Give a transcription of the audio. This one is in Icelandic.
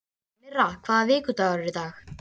Myrra, hvaða vikudagur er í dag?